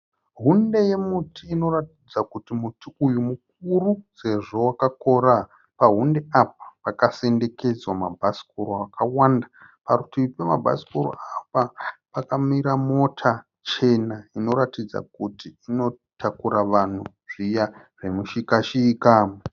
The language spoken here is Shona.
Hunde yemuti inoratidza kuti muti uyu mukuru sezvo wakakora. Pahunde apa pakasendekedzwa mabhasikoro akawanda. Parutivi pemabhasikoro apa pakamira mota chena inoratidza kuti inotakura vanhu zviya zvemushikashika.